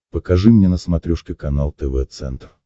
покажи мне на смотрешке канал тв центр